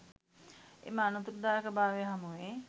එම අනතුරුදායක භාවය හමුවේ